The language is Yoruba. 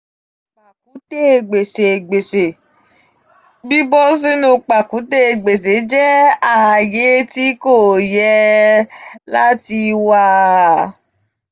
um pakute gbese gbese :bibo sinu pakute gbese jẹ aaye ti ko ye um lati wa.